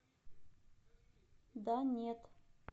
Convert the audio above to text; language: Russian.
да нет